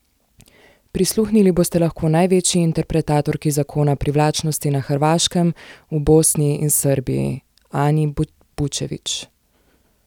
Prisluhnili boste lahko največji interpretatorki zakona privlačnosti na Hrvaškem, v Bosni in Srbiji, Ani Bučević.